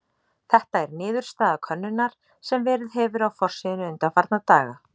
Þetta er niðurstaða könnunar sem verið hefur á forsíðunni undanfarna daga.